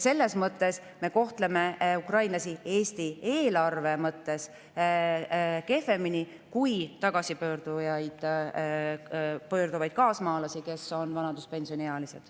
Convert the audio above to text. Selles mõttes me kohtleme ukrainlasi Eesti eelarve mõttes kehvemini kui tagasi pöörduvaid kaasmaalasi, kes on vanaduspensioniealised.